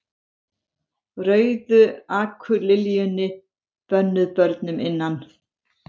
Rauðu akurliljunni, bönnuð börnum innan